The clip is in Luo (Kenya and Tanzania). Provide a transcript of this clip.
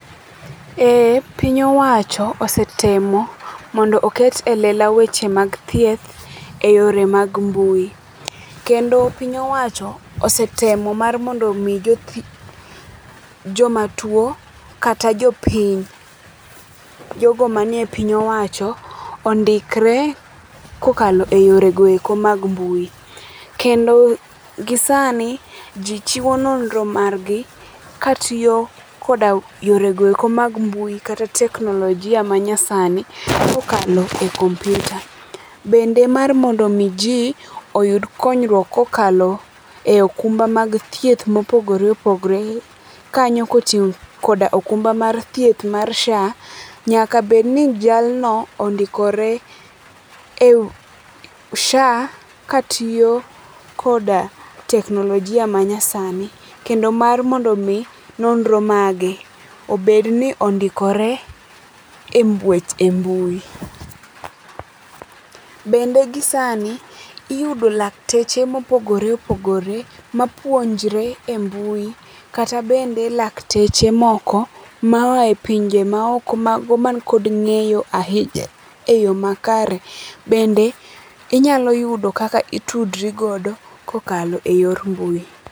Eeeh, piny owacho osetemo mondo oket e lela weche mag thieth e yore mag mbui. Kendo piny owacho osetemo mar mondo mi jothieth, joma tuo kata jopiny ,jogo manie piny owacho ondikre kokalo e yore goeko mag mbui. Kendo gisani jii chiwo nonro margi katiyo koda yore goeko mag mbui kata teknolojia manyasani kokalo e kompyuta. Bende mar mondo mi jii oyud konyruok kokalo e okumba mag thieth mopogore opogore kanyo kochiw koda okumba mar thieth mar SHA, nyaka bedni jalno ondikore e ,SHA katiyo koda teknolojia manyasani kendo mar mondo mi nonro mage obed ni ondikore e weche, e mbui. Bende gisani iyudo lakteche mopogore opogore mapuonjre e mbui kata bende lakteche moko maaye pinje maoko mago mantie kod ngeyo ahinya eyoo makare. Bende inyalo yudo kaka itudri godo kokalo e yor mbui